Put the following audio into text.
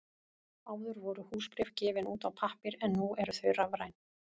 Áður voru húsbréf gefin út á pappír en nú eru þau rafræn.